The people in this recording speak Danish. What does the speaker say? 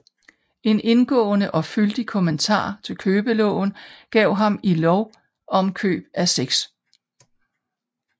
En indgående og fyldig kommentar til Købeloven gav han i Lov om Køb af 6